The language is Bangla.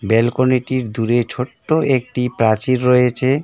ব্যালকনিটির দূরে ছোট্ট একটি প্রাচীর রয়েছে।